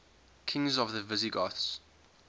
kings of the visigoths